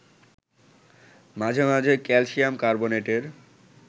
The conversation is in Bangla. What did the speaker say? মাঝে মাঝে ক্যালসিয়াম কার্বোনেটের